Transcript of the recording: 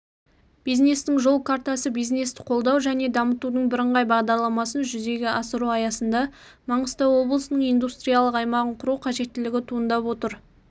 бизнестің жол картасы бизнесті қолдау және дамытудың бірыңғай бағдарламасын жүзеге асыру аясында маңғыстау облысының индустриялық аймағын құру қажеттілігі туындап отыр